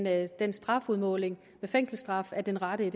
at den strafudmåling med fængselsstraf er den rette